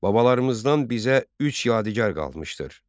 Babalarımızdan bizə üç yadigar qalmışdır: